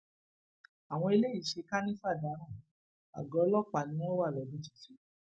àwọn eléyìí ṣe kànìfà dáràn àgọ ọlọpàá ni wọn wà lọdún tuntun